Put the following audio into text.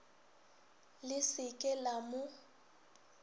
le se ke la mo